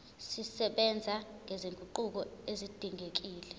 zisebenza nezinguquko ezidingekile